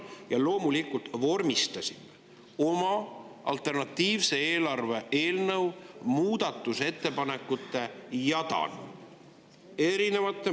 Ja loomulikult me vormistasime oma alternatiivse eelarve muudatusettepanekute jadana.